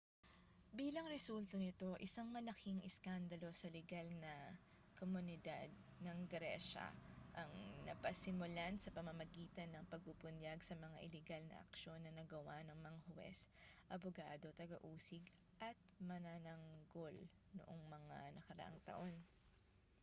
bilang resulta nito isang malaking iskandalo sa ligal na komunidad ng gresya ang napasimulan sa pamamagitan ng pagbubunyag sa mga iligal na aksyon na nagawa ng mga huwes abogado taga-usig at manananggol noong mga nakaraang taon